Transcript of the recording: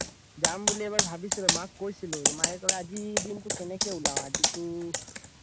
জাম বুলি এবাৰ ভাবিছিলো মাক কৈছিলো আজিৰ দিনটো কেনেকে উলাও আজিতো